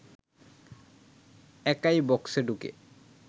একাই বক্সে ঢুকে